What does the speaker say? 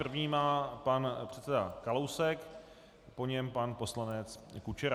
První má pan předseda Kalousek, po něm pan poslanec Kučera.